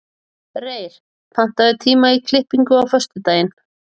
Reyr, pantaðu tíma í klippingu á föstudaginn.